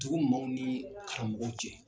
Dugu maaw ni karamɔgɔw cɛ.